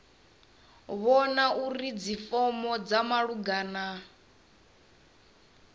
vhona uri dzifomo dza malugana